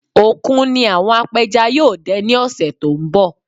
Òkun ni àwọn apẹja yóò dẹ ní òṣé tó ń bọ̀